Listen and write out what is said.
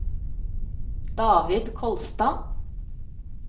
David Kolstad